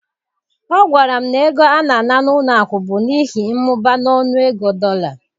Ọ gwara m na ego a na-ana n'ụlọ akụ bụ n'ihi mmụba n'ọnụego dollar